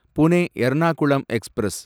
Pune Ernakulam express